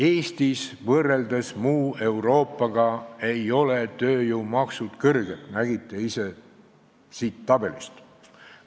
Eestis ei ole tööjõumaksud muu Euroopaga võrreldes kõrged, nagu isegi siit tabelist nägite.